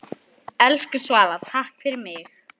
Elsku Svala, takk fyrir mig.